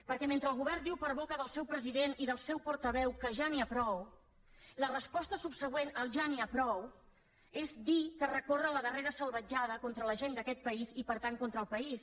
perquè mentre el govern diu per boca del seu president i del seu portaveu que ja n’hi ha prou la resposta subsegüent al ja n’hi ha prou és dir que es recorre la darrera salvatjada contra la gent d’aquest país i per tant contra el país